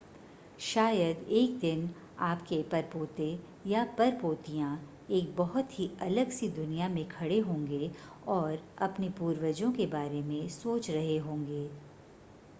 शायद एक दिन आपके परपोते या परपोतियां एक बहुत ही अलग सी दुनिया में खडे होंगे और अपने पूर्वजों के बारे में सोच रहे होंगे